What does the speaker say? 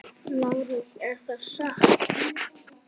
LÁRUS: Er það satt?